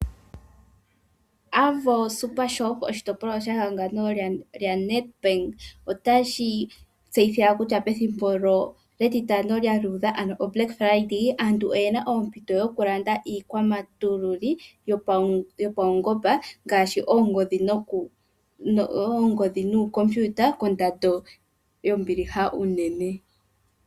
Avo super shop, oshitopolwa she hangano lya Nedbank otashi tseyitha kutya pethimbo lyEtitano lya luudha, ano o black Friday, aantu oyena oompito dho kulanda iikwamatululi yo paungomba ngaashi oongodhi nooComputer ko mbiiha unene.